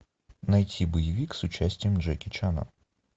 найти боевик с участием джеки чана